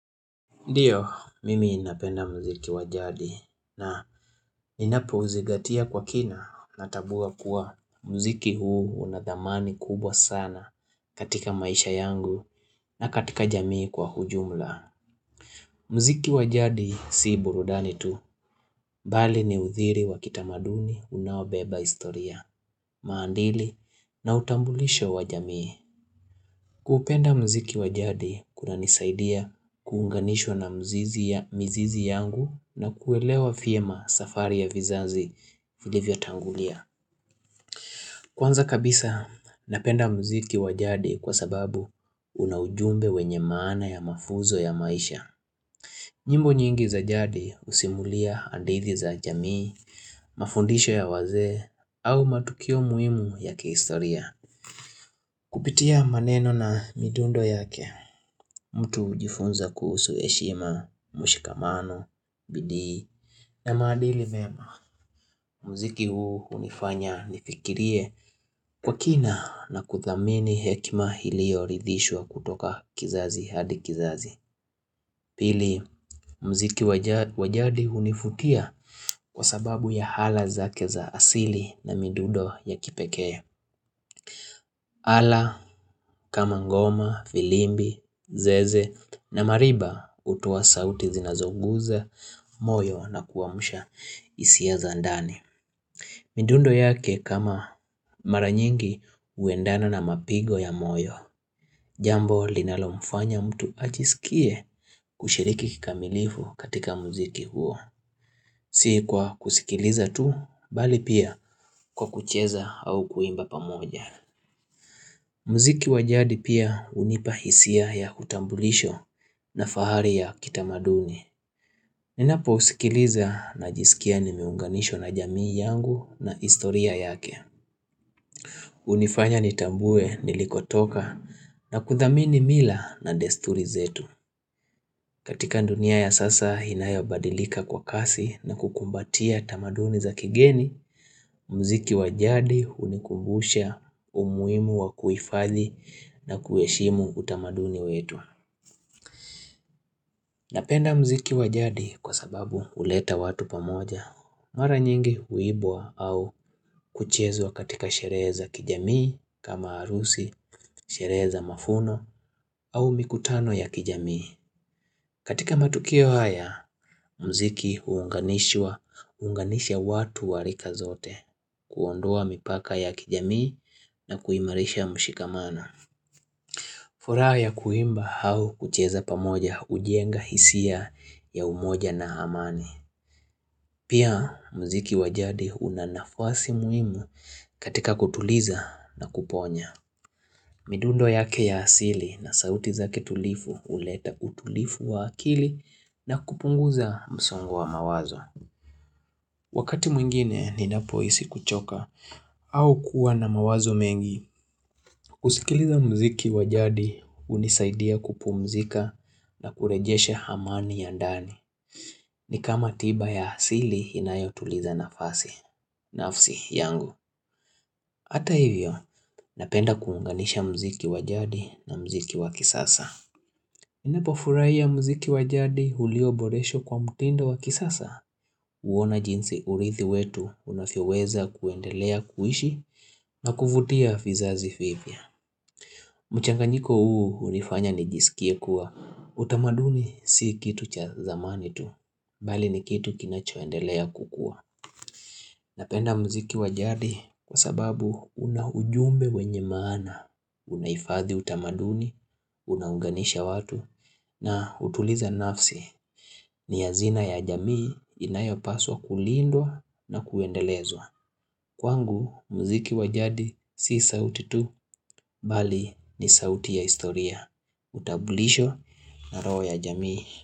Ndiyo, mimi ninapenda mziki wa jadi na inapouzingatia kwa kina natambuwa kuwa mziki huu unadhamani kubwa sana katika maisha yangu na katika jamii kwa hujumla. Mziki wa jadi si burudani tu, bali ni udhiri wa kitamaduni unaobeba historia, maadili na utambulisho wa jamii. Kupenda mziki wa jadi kunanisaidia kuunganishwa na mzizi ya mizizi yangu na kuelewa vyema safari ya vizazi vilivyotangulia. Kwanza kabisa napenda mziki wa jadi kwa sababu una ujumbe wenye maana ya mafunzo ya maisha. Nyimbo nyingi za jadi husimulia hadithi za jamii, mafundisho ya wazee au matukio muhimu ya kihistoria. Kupitia maneno na midundo yake, mtu hujifunza kuhusu heshima, mshikamano, bidii, na maadili mema. Muziki huu hunifanya nifikirie kwa kina na kuthamini hekima iliyoridhishwa kutoka kizazi hadi kizazi. Pili, mziki wa jadi hunifutia kwa sababu ya ala zake za asili na midundo ya kipekee. Ala kama ngoma, filimbi, zeze na mariba hutoa sauti zinazoguza, moyo na kuamusha hisia za ndani. Midundo yake kama maranyingi huendana na mapigo ya moyo. Jambo linalomfanya mtu ajisikie kushiriki kikamilifu katika muziki huo. Si kwa kusikiliza tu, bali pia kwa kucheza au kuimba pamoja. Mziki wa jadi pia hunipa hisia ya kutambulisho na fahari ya kitamaduni. Ninapousikiliza najisikia nimeunganishw na jamii yangu na historia yake. Hunifanya nitambue nilikotoka na kuthamini mila na desturi zetu. Katika dunia ya sasa inayobadilika kwa kasi na kukumbatia tamaduni za kigeni, mziki wa jadi hunikumbusha umuhimu wa kuhifadhi na kuheshimu utamaduni wetu Napenda mziki wa jadi kwa sababu huleta watu pamoja Mara nyingi huibwa au kuchezwa katika sherehe za kijamii kama harusi, sherehe za mafuno au mikutano ya kijamii katika matukio haya, mziki huunganishwa, huunganisha watu wa rika zote kuondoa mipaka ya kijamii na kuimarisha mshikamana furaha ya kuimba au kucheza pamoja hujenga hisia ya umoja na amani Pia mziki wa jadi unanafasi muhimu katika kutuliza na kuponya midundo yake ya asili na sauti zake tulivu huleta utulivu wa akili na kupunguza msongo wa mawazo Wakati mwingine ninapohisi kuchoka au kuwa na mawazo mengi. Kusikiliza mziki wa jadi hunisaidia kupumzika na kurejesha amani ya ndani. Ni kama tiba ya asili inayotuliza nafasi. Nafsi yangu, hata hivyo napenda kuunganisha mziki wa jadi na mziki wa kisasa. Ninapofurahia mziki wa jadi ulioboreshwa kwa mtindo wa kisasa? Huona jinsi urithi wetu unavyoweza kuendelea kuishi na kuvutia fizazi vipya. Mchanganyiko huu hunifanya nijisikie kuwa utamaduni si kitu cha zamani tu. Bali ni kitu kinachoendelea kukua. Napenda mziki wa jadi kwa sababu una ujumbe wenye maana. Unahifadhi utamaduni, unaunganisha watu na hutuliza nafsi. Ni hazina ya jamii inayopaswa kulindwa na kuendelezwa Kwangu mziki wa jadi si sauti tu Bali ni sauti ya historia utambulisho na roho ya jamii.